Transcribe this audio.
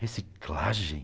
Reciclagem.